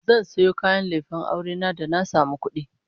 Zan sayo kayan lefen aure na da na samu kudi